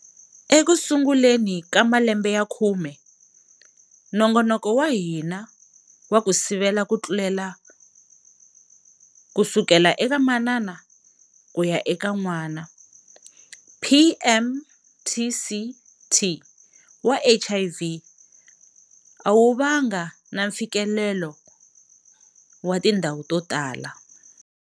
Ekusunguleni ka malembe ya khume, nongonoko wa hina wa ku sivela ku tlulela kusukela eka manana kuya eka n'wana, PMTCT, wa HIV a wu va nga na mfikelelo wa tindhawu to tala.